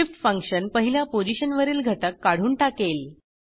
shift function पहिल्या पोझिशनवरील घटक काढून टाकेल